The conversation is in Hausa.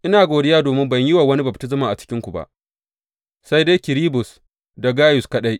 Ina godiya domin ban yi wa wani baftisma a cikinku ba, sai dai Kirisbus da Gayus kaɗai.